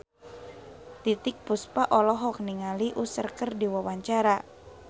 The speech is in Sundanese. Titiek Puspa olohok ningali Usher keur diwawancara